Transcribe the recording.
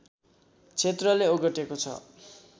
क्षेत्रले ओगटेको छ